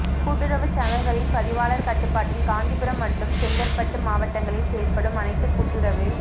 கூட்டுறவுச் சங்கங்களின் பதிவாளர் கட்டுப்பாட்டில் காஞ்சிபுரம் மற்றும் செங்கற்பட்டு மாவட்டங்களில் செயல்படும் அனைத்து கூட்டுறவு